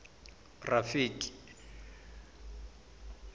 rafiki